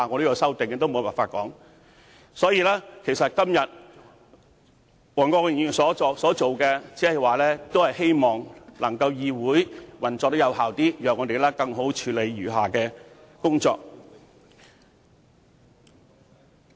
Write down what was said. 因此，黃國健議員今天所做的，無非是希望議會能夠更有效地運作，讓我們可以更好地處理餘下的工作。